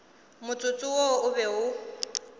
motsotso wo o be o